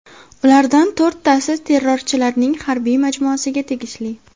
Ulardan to‘rttasi terrorchilarning harbiy majmuasiga tegishli.